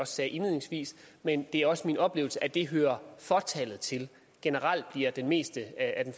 sagde indledningsvis men det er også min oplevelse at det hører fåtallet til generelt bliver det meste af den